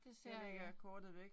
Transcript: Det ser jeg ikke